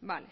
vale